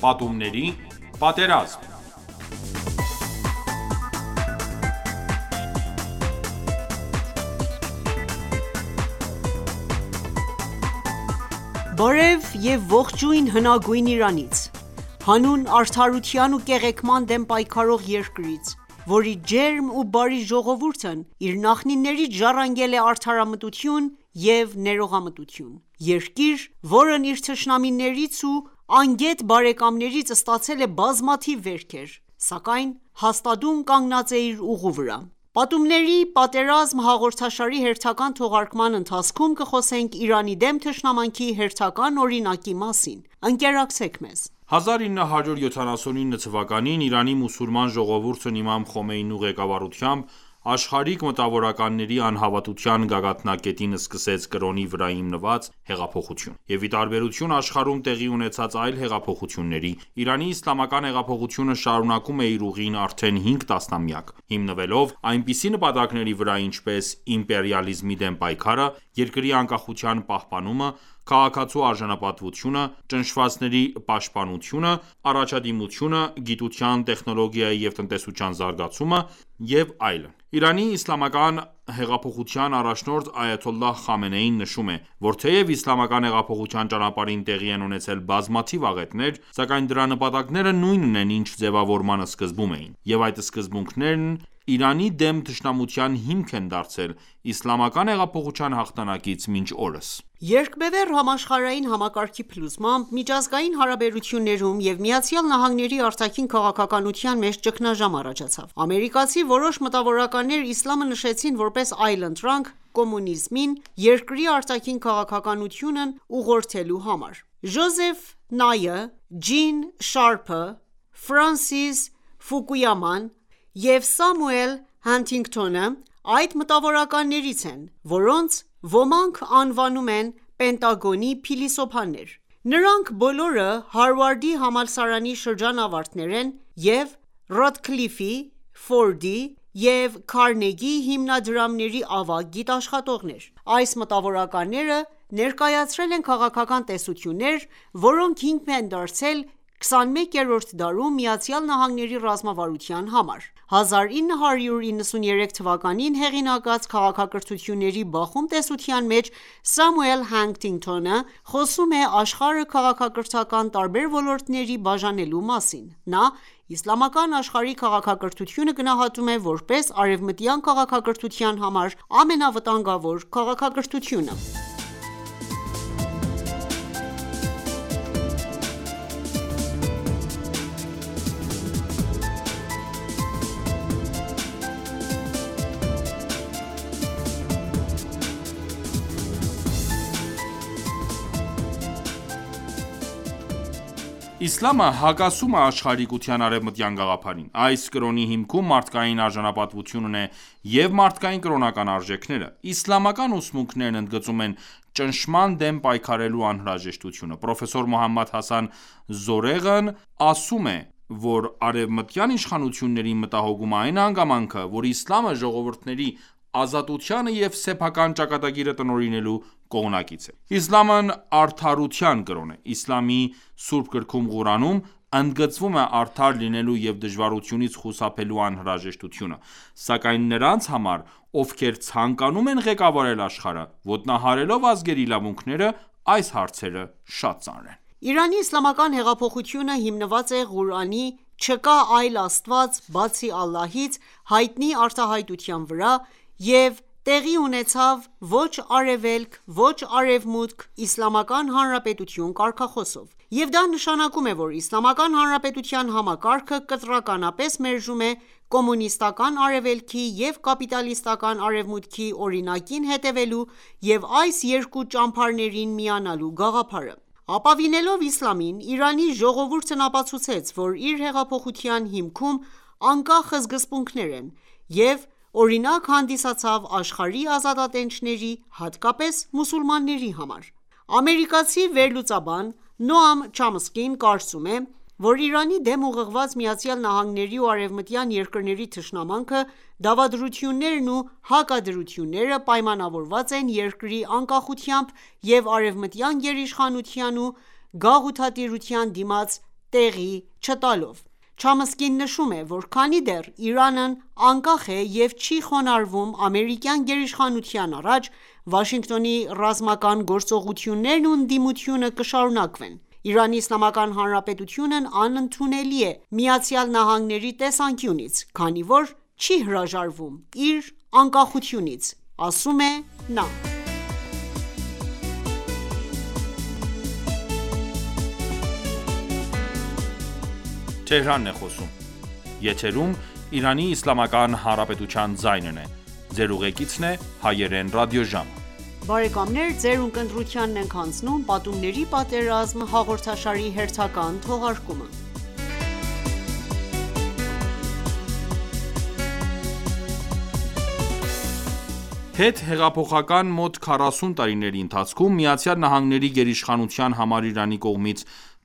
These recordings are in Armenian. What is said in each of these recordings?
Պատումների պատերազմ (5) Բարև և ողջույն հնագույն Իրանից: Հանուն արդարության ու կեղեքման դեմ պայքարող երկրից, որի ջերմ ու բարի ժողովուրդն իր նախնիներից ժառանգել է արդարամտություն և ներողամտություն: Երկիր, որն իր թշնամիներից ու անգետ բարեկամներից ստացել է բազմաթիվ վերքեր, սակայն հաստատուն կանգնած է իր ուղու վրա: «Պատումների պատերազմ» հաղրդաշարի հերթական թողարկման ընթացքում կխոսենք Իրանի դեմ թշնամանքի հերթական օրինակի մասին: Ընկերակցեք մեզ: 1979թ․ Իրանի մուսուլման ժողովուրդն իմամ Խոմեյնու ղեկավարությամբ աշխարհիկ մտավորականների անհավատության գագաթնակետին սկսեց կրոնի վրա հիմնված հեղափոխություն: Եվ ի տաբերություն աշխարհում տեղի ունեցած այլ հեղափոխությունների, Իրանի իսլամական հեղափոխությունը շարունակում է իր ուղին արդեն 5 տասնամյակ, հիմնվելով այնպիսի նպատակների վրա, ինչպես՝ իմպերիալիզմի դեմ պայքարը, երկրի անկախության պահպանումը, քաղաքացու արժանապատվությունը, ճնշվածների պաշտպանությունը, առաջադիմությունը, գիտության, տեխնոլոգիայի և տնտեսության զարգացումը: ԻԻՀ առաջնորդ Այաթոլլահ Խամենեին նշում է, որ թեև իսլամական հեղափոխության ճանապարհին տեղի են ունեցել բազմաթիվ աղետներ, սակայն դրա նպատակները նույնն են ինչ ձևավորման սկզբում էին: Եվ այդ սկզբունքներն Իրանի դեմ թշնամության հիմք են դարձել իսլամական հեղափոխության հաղթանակից մինչ օրս: Երկբևեռ համաշխարհային համակարգի փլուզմամբ, միջազգային հարաբերություններում և ԱՄՆ-ի արտաքին քաղաքականության մեջ ճգնաժամ առաջացավ: Ամերիկացի որոշ մտավորականներ իսլամը նշեցին որպես այլընտրանք կոմունիզմին՝ երկրի արտաքին քաղաքականությունն ուղղորդելու համար: Ջոզեֆ Նայը, Ջին Շարփը, Ֆրենսիս Ֆուկույաման և Սամուել Հանթինգթոնը այդ մտավորականներից են, որոնց ոմանք անվանում են «Պենտագոնի փիլիսոփաներ»: Նրանք բոլորը Հարվարդի համալսարանի շրջանավարտներ են և Ռոքֆելլերի, Ֆորդի և Քարնեգի հիմնադրամների ավագ գիտաշխատողներ։ Այս մտավորականները ներկայացրել են քաղաքական տեսություններ, որոնք հիմք են դարձել 21-րդ դարում ԱՄՆ-ի ռազմավարության համար: 1993թ․ հեղինակած «Քաղաքակրթությունների բախում» տեսության մեջ Սամուել Հանթինգթոնը խոսում է աշխարհը քաղաքակրթական տարբեր ոլորտների բաժանելու մասին։ Նա իսլամական աշխարհի քաղաքակրթությունը գնահատում է որպես արևմտյան քաղաքակրթության համար ամենավտանգավոր քաղաքակրթությունը։ Իսլամը հակասում է աշխարհիկության արևմտյան գաղափարին: Այս կրոնի հիմքում մարդկային արժանապատվությունն է և մարդկային կրոնական արժեքները: Իսլամական ուսմունքներն ընդգծում են ճնշման դեմ պայքարելու անհրաժեշտությունը: Պրոֆեսոր Մոհամմադ Հասան Զորեղն ասում է, որ արևմտյան իշխանություններին մտահոգում է այն հանգամանքը, որ իսլամը ժողովուրդների ազատությանը և սեփական ճակատագիրը տնօրինելու կողմնակից է: Իսլամն արդարության կրոն է: Իսլամի Սուրբ գրքում Ղուրանում, ընդգծվում է արդար լինելու և դաժանությունից խուսափելու անհրաժեշտությունը: Սակայն նրանց համար, ովքեր ցանկանում են ղեկավարել աշխարհը՝ ոտնահարելով ազգերի իրավունքները, այս հարցերը շատ ծանր են: Իրանի իսլամական հեղափոխությունը հիմնված էր Ղուրանի՝ «Չկա այլ Աստված բացի Ալլահից» հայտնի արտահյատության վրա և տեղի ունեցավ «Ոչ Արևելք, ոչ Արևմուտք, Իսլամական Հանրապետություն» կարգախոսով: Եվ դա նշանակում է, որ Իսլամական Հանրապետության համակարգը կտրականապես մերժում է կոմունիստական Արևելքի և կապիտալիստական Արևմուտքի օրինակին հետևելու և այս երկու ճամբարներին միանալու գաղափարը: Ապավինելով իսլամին, Իրանի ժողովուրդն ապացուցեց, որ իր հեղափոխության հիմքում անկախ սկզբունքներ են և օրինակ հանդիսացավ աշխարհի ազատատենչների, հատկապես՝ մուսուլմանների համար: Ամերիկացի վերլուծաբան Նոամ Չոմսկին կարծում է, որ Իրանի դեմ ուղղված ԱՄՆ-ի ու արևմտյան երկրների թշնամանքը, դավադրություններն ու հակադրությունները պայմանավորված են երկրի անկախությամբ և արևմտյան գերիշխանության ու գաղութատիրության դիմաց տեղի չտալով: Չոմսկին նշում է, որ քանի դեռ Իրանն անկախ է և չի խոնարհվում ամերիկյան գերիշխանության առաջ, Վաշինգտոնի ռազմական գործողություններն ու ընդդիմությունը կշարունակվեն։ «Իրանի Իսլամական Հանրապետությունն անընդունելի է ԱՄՆ-ի տեսանկյունից, քանի որ չի հրաժարվում իր անկախությունից»,- ասում է նա: Հետհեղափոխական մոտ քառասուն տարիների ընթացքում ԱՄՆ-ի գերիշխանության համար Իրանի կողմից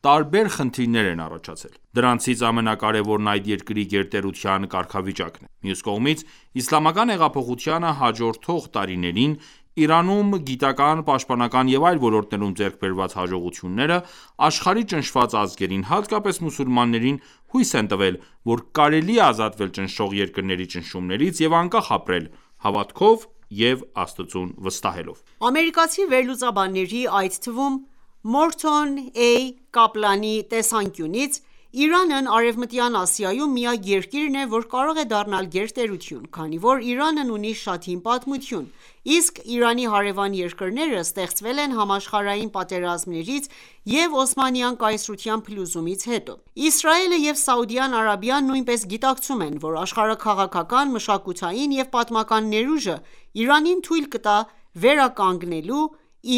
տարբեր խնդիրներ են առաջացել: Դրանցից ամենակարևորն այդ երկրի գերտերության կարգավիճակն է: Մյուս կողմից, իսլամական հեղափոխությանը հաջորդող տարիներին Իրանում գիտական, պաշտպանական և այլ ոլորտներում ձեռք բերված հաջողությունները աշխարհի ճնշված ազգերին, հատկապես՝ մուսուլմաններին հույս են տվել, որ կարելի է ազատվել ճնշող երկրների ճնշումներից և անկախ ապրել՝ հավատքով և Աստծուն վստահելով: Ամերիկացի վերլուծաբանների, այդ թվում՝ Մորթոն Ա. Կապլանի տեսանկյունից, Իրանն Արևմտյան Ասիայում միակ երկիրն է, որ կարող է դառնալ գերտերություն: Քանի որ Իրանն ունի շատ հին պատմություն, իսկ Իրանի հարևան երկրները ստեղծվել են համաշխարհային պատերազմներից և Օսմանյան կայսրության փլուզումից հետո: Իսրայելը և Սաուդյան Արաբիան նույնպես գիտակցում են, որ աշխարհաքաղաքական, մշակութային և պատմական ներուժը Իրանին թույլ կտա վերականգնեու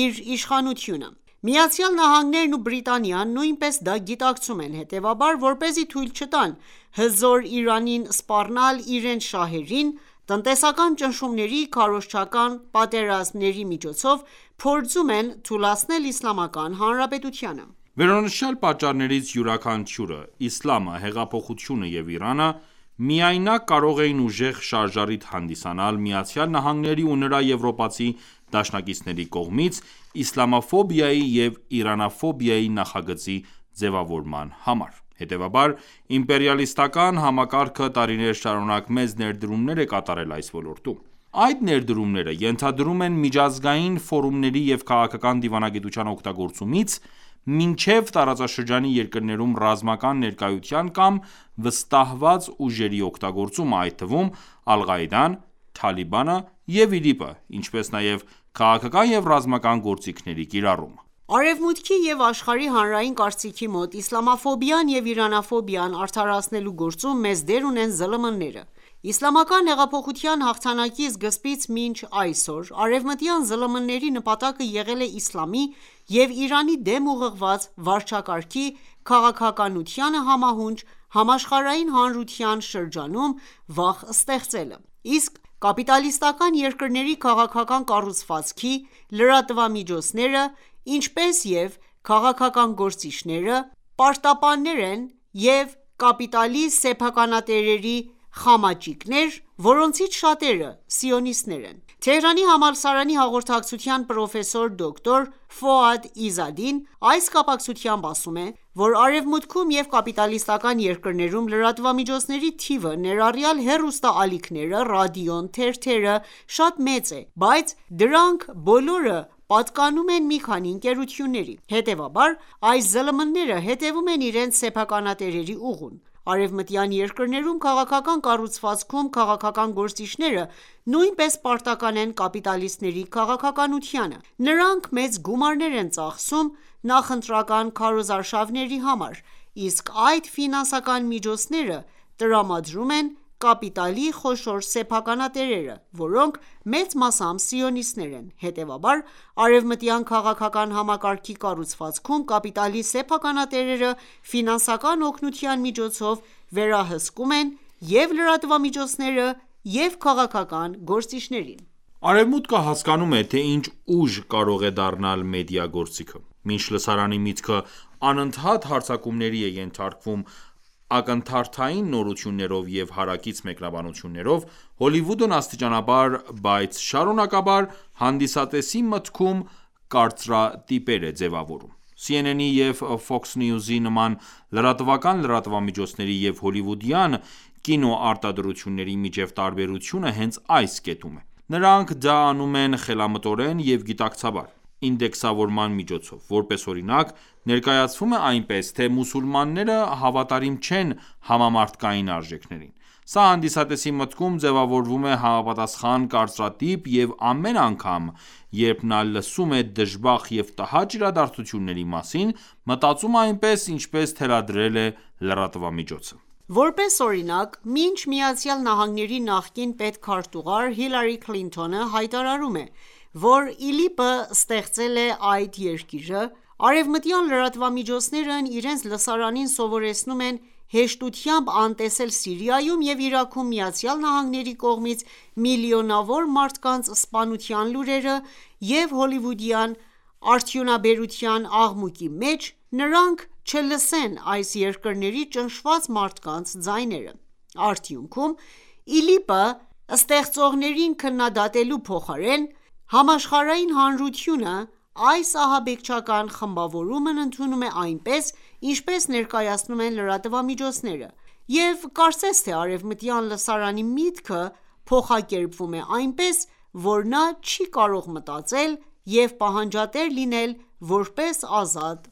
իր իշխանությունը: ԱՄՆ-ն ու Բրիտանիան նույնպես դա գիտակցում են, հետևաբար, որպեսզի թույլ չտան Հզոր Իրանին սպառնալ իրենց շահերին, տնտեսական ճնշումների, քարոզչական պատերազմների միոցով փորձում են թուլացնել Իսլամական Հանրապետությանը: Վերոնշյալ պատճառներից յուրաքանչյուրը՝ իսլամը, հեղափոխությունը և Իրանը, միայնակ կարող էին ուժեղ շարժառիթ հանդիսանալ ԱՄՆ-ի ու նրա եվրոպացի դաշնակիցների կողմից իսլամաֆոբիայի և իրանաֆոբիայի նախագծի ձևավորման համար։ Հետևաբար իմպերիալիստական համակարգը տարիներ շարունակ մեծ ներդրումներ է կատարել այս ոլորտում: Այդ ներդրումները ենթադրում են միջազգային ֆորումների և քաղաքական դիվանագիտության օգտագործումից մինչև տարածաշրջանի երկրներում ռազմական ներկայություն կամ վստահված ուժերի օգտագործումը, այդ թվում՝ Ալ-Ղաիդան, Թալիբանը և ԻԼԻՊ-ը, ինչպես նաև քաղաքական և ռազմական գործիքների կիրառումը: Արևմուտքի և աշխարհի հանրային կարծիքի մոտ իսլամաֆոբիան և իրանաֆոբիան արդարացնելու գործում մեծ դեր ունեն ԶԼՄ-ները: Իսլամական հեղափոխության հաղթանակի սկզբից մինչև այսօր արևմտյան ԶԼՄ-ների նպատակը եղել է իսլամի և Իրանի դեմ ուղղված վարչակարգի քաղաքականությանը համահունչ համաշխարհային հանրության շրջանում վախ ստեղծելը: Ըստ կապիտալիստական երկրների քաղաքական կառուցվածքի՝ լրատվամիջոցները, ինչպես և քաղաքական գործիչները, պարտապաններ են և կապիտալի սեփականատերերի խամաճիկներ, որոնցից շատերը սիոնիստներ են։ Թեհրանի համալսարանի հաղորդակցության պրոֆեսոր, դոկտոր Ֆուադ Իզադին այս կապակցությամբ ասում է, որ Արևմուտքում և կապիտալիստական երկրներում լրատվամիջոցների թիվը, ներառյալ հեռուստաալիքները, ռադիոն, թերթերը, շատ մեծ է, բայց դրանք բոլորը պատկանում են մի քանի ընկերությունների։ Հետևաբար այս ԶԼՄ-ները հետևում են իրենց սեփականատերերի ուղուն: Արևմտյան երկրներում քաղաքական կառուցվածքում քաղաքական գործիչները նույնպես պարտական են կապիտալիստների քաղաքականությանը։ Նրանք մեծ գումարներ են ծախսում նախընտրական քարոզարշարվների համար, իսկ այդ ֆինանսական միջոցները տրամադրում են կապիտալի խոշոր սեփականատերերը, որոնք մեծ մասամբ սիոնիստներ են: Հետևաբար, արևմտյան քաղաքական համակարգի կառուցվածքում կապիտալի սեփականատերերը ֆինանսական օգնության միջոցով վերահսկում են և՛ լրատվամիջոցները, և՛ քաղաքական գործիչներին։ Արևմուտքը հասկանում է, թե ինչ ուժ կարող է դառնալ մեդիա գործիքը: Մինչ լսարանի միտքը անընդհատ հարձակումների է ենթարկվում ակնթարթային նորություններով և հարակից մեկնաբանություններով, Հոլիվուդն աստիճանաբար, բայց շարունակաբար հանդիսատեսի մտքում կարծրատիպեր է ձևավորում: CNN-ի և Fox News-ի նման լրատվական լրատվամիջոցների և հոլիվուդյան կինոարտադրությունների միջև տարբերությունը հենց այս կետում է: Նրանք դա անում են խելամտորեն և գիտակցաբար՝ ինդեքսավորման միջոցով: Որպես օրինակ, ներկայացվում է այնպես, թե մուսուլմանները հավատարիմ չեն համամարդկային արժեքներին: Սա հանդիսատեսի մտքում ձևավորում է համապատասխան կարծրատիպ և ամեն ագամ, երբ նա լսում է դժբախտ և տհաճ իրադարձությունների մասին, մտածում է այնպես, ինչպես թելադրել է լրատվամիջոցը: Որպես օրինակ, մինչ ԱՄՆ նախկին պետքարտուղար Հիլարի Քլինթոնը հայտարարում է, որ ԻԼԻՊ-ը ստեղծել է այդ երկիրը, արևմտյան լրատվամիջոցներն իրենց լսարանին սովորեցնում են հեշտությամբ անտեսել Սիրիայում և Իրաքում ԱՄՆ-ի կողմից միլիոնավոր մարդկանց սպանության լուրերը և հոլիվուդյան արդյունաբերության աղմուկի մեջ նրանք չլսեն այս երկրների ճնշված մարդկանց ձայները: Արդյունքում, ԻԼԻՊ-ը ստեղծողներին քննադատելու փոխարեն՝ համաշխարհային հանրությունը այս ահաբեկչական խմբավորումն ընդունում է այնպես, ինչպես ներկայացնում են լրատվամիջոցները: Եվ կարծես թե արևմտյան լսարանի միտքը փոխակերպվում է այնպես, որ նա չի կարող մտածել և պահանջատեր լինել որպես ազատ